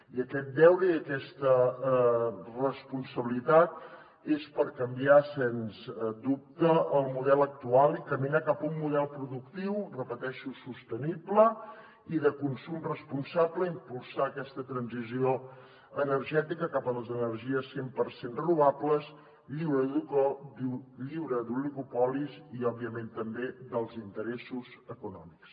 i aquest deure i aquesta responsabilitat són per canviar sens dubte el model actual i caminar cap a un model productiu ho repeteixo sostenible i de consum responsable i impulsar aquesta transició energètica cap a les energies cent per cent renovables lliures d’oligopolis i òbviament també dels interessos econòmics